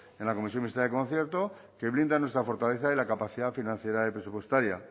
en la comisión mixta de concierto que blinda nuestra fortaleza y la capacidad financiera y presupuestaria